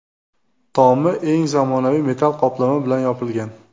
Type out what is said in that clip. Tomi eng zamonaviy metall qoplama bilan yopilgan.